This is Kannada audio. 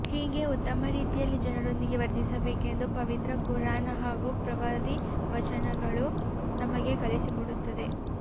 ಹೀಗೆ ಉತ್ತಮ ರೀತಿಯಲ್ಲಿ ಜನರೊಂದಿಗೆ ವರ್ತಿಸಬೇಕೆಂದು ಪವಿತ್ರ ಕುರ್ಆನ್ ಹಾಗೂ ಪ್ರವಾದಿ ವಚನಗಳು ನಮಗೆ ಕಲಿಸಿಕೊಡುತ್ತದೆ